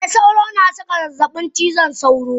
Eh sauro na saka zazzabin cizon sauro.